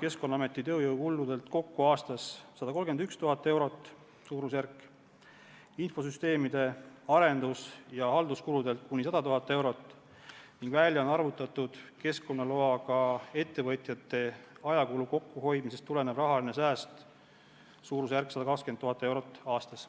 Keskkonnaameti tööjõukuludelt kokku aastas suurusjärgus 131 000 eurot, infosüsteemide arendus- ja halduskuludelt kuni 100 000 eurot ning välja on arvutatud keskkonnaloaga ettevõtjate ajakulu kokkuhoidmisest tulenev rahaline sääst, mis on suurusjärgus 120 000 eurot aastas.